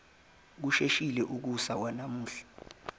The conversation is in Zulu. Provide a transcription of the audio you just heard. kusheshile ukusa kwanamuhla